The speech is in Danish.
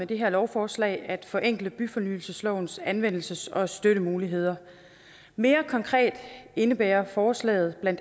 det her lovforslag at forenkle byfornyelseslovens anvendelses og støttemuligheder mere konkret indebærer forslaget bla